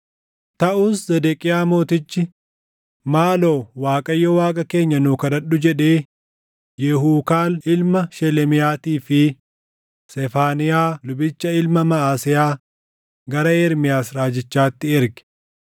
Taʼus Zedeqiyaa mootichi, “Maaloo Waaqayyo Waaqa keenya nuu kadhadhu” jedhee Yehuukal ilma Shelemiyaatii fi Sefaaniyaa lubicha ilma Maʼaseyaa gara Ermiyaas raajichaatti erge.